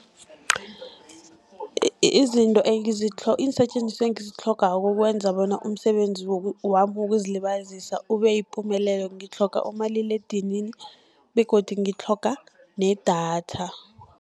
Izinto iinsetjenziswa engizitlhogako, ukukwenza bona umsebenzi wami wokuzilibazisa ube yipumelelo, ngitlhoga umaliledinini begodi ngitlhoga nedatha.